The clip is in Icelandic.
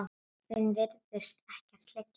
Þeim virðist ekkert liggja á.